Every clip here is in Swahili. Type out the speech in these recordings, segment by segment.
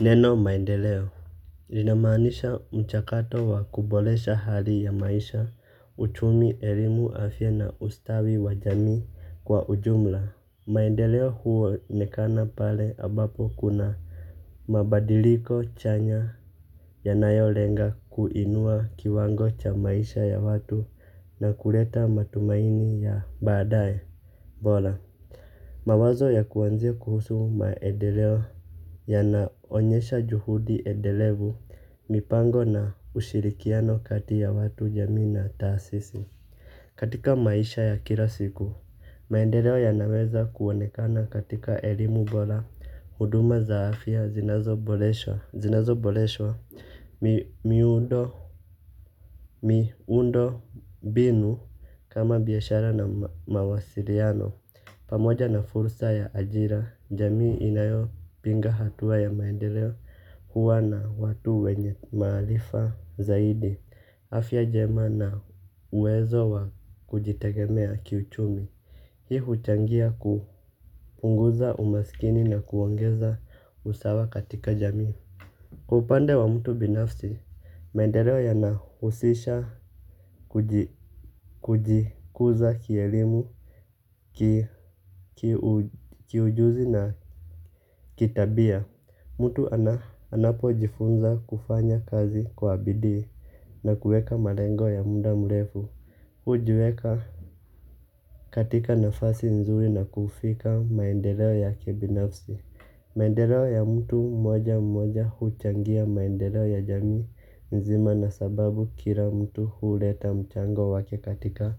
Neno maendeleo linamaanisha mchakato wa kuboresha hali ya maisha uchumi elimu afya na ustawi wa jamii kwa ujumla. Maendeleo huonekana pale ambapo kuna mabadiliko chanya yanayolenga kuinua kiwango cha maisha ya watu na kuleta matumaini ya badaye bora. Mawazo ya kuanzia kuhusu maendeleo. Yanaonyesha juhudi endelevu, mipango na ushirikiano kati ya watu jamii na taasisi. Katika maisha ya kila siku, maendeleo yanaweza kuonekana katika elimu bora. Huduma za afya zinazoboreshwa, zinazoboreshwa miundo binu kama biyashara na mawasiriano. Pamoja na fursa ya ajira, jamii inayo pinga hatua ya maendeleo huwa na watu wenye maarifa zaidi afya njema na uwezo wa kujitegemea kiuchumi. Hii huchangia kuunguza umaskini na kuongeza usawa katika jamii. Kwa upande wa mtu binafsi, maendeleo yanahusisha kujikuza kielimu, kiujuzi na kitabia. Mtu anapojifunza kufanya kazi kwa bidii na kuweka malengo ya muda mrefu. Hujiweka katika nafasi nzuri na kufika maendeleo ya kibinafsi. Maendeleo ya mtu mmoja mmoja huchangia maendeleo ya jamii nzima na sababu kila mtu huleta mchango wake katika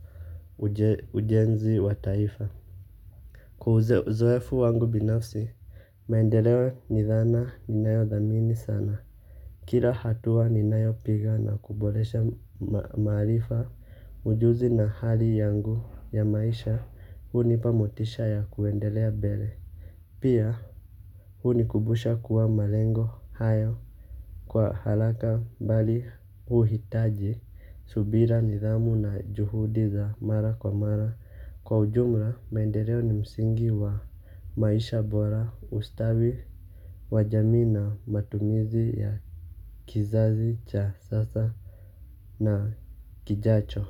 ujenzi wa taifa. Kwa uzoefu wangu binafsi, maendeleo ni dhana inayothamini sana. Kila hatua ninayopiga na kuboresha maarifa ujuzi na hali yangu ya maisha hunipa motisha ya kuendelea mbele. Pia hunikubusha kuwa malengo hayo kwa haraka bali huhitaji subira nidhamu na juhudi za mara kwa mara. Kwa ujumla maendeleo ni msingi wa maisha bora ustawi wa jamii na matumizi ya kizazi cha sasa na kijacho.